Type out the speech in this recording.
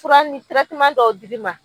Fura ni tɛrɛteman dɔw dir'i ma